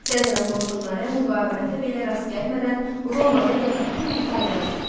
Sezarın qoşunları müqavimətə belə rast gəlmədən Romanı və bütün İtaliyanı tutdu.